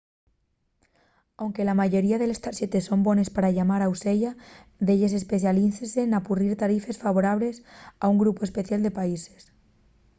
anque la mayoría de les tarxetes son bones pa llamar au seya delles especialícense n'apurrir tarifes favorables a un grupu especial de países